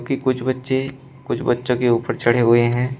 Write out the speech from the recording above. कुछ बच्चे कुछ बच्चों के ऊपर चढ़े हुए हैं।